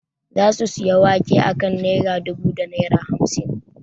Za su sayi wake a kan naira dubu da naira hamsin